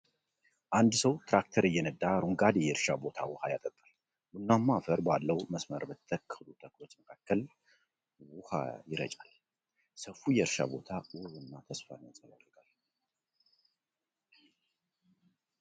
አንድ ሰው ትራክተር እየነዳ አረንጓዴ የእርሻ ቦታ ውሃ ያጠጣል። ቡናማ አፈር ባለው መስመር በተተከሉ ተክሎች መካከል ውሃ ይረጫል። ሰፊው የእርሻ ቦታ ውብ እና ተስፋን ያንጸባርቃል።